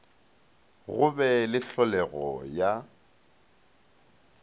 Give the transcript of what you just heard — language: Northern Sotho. go be le hlolego ya